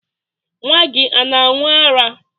Nwa gị ana aṅụ ara?